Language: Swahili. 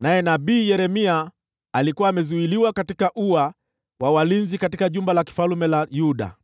naye nabii Yeremia alikuwa amezuiliwa katika ua wa walinzi katika jumba la kifalme la Yuda.